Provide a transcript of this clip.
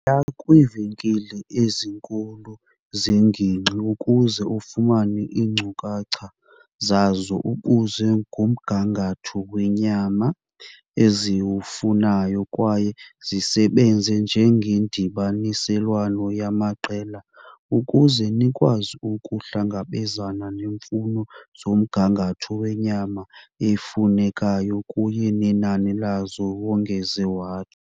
"Yiya kwiivenkile ezinkulu zengingqi ukuze ufumane iinkcukacha zazo, ubuze ngomgangatho wenyama eziwufunayo kwaye nisebenze njengendibaniselwano yamaqela ukuze nikwazi ukuhlangabezana neemfuno zomgangatho wenyama efunekayo kunye nenani lazo," wongeze.